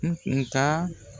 N taa